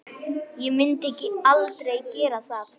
Ég myndi aldrei gera það.